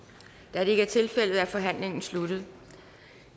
da det ikke er tilfældet er forhandlingen sluttet